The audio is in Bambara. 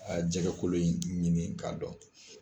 Jɛgɛkolo in ɲini ka dɔn.